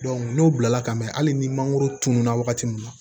n'o bilala ka mɛn hali ni mangoro tununa wagati min na